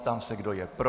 Ptám se, kdo je pro.